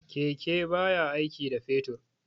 Keke baya aiki da fetur.